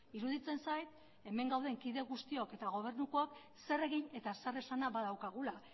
iruditzen zait hemen gauden kide guztiok eta gobernukook zer egin eta zer esana badaukagula